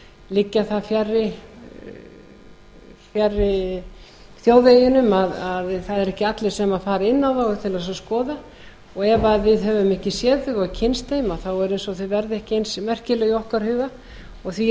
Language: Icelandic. liggja það fjarri þjóðveginum að það eru ekki allir sem fara inn á þau til að skoða og ef við höfum ekki séð þau og kynnst þeim þá er eins og þau verði ekki eins merkileg í okkar huga og því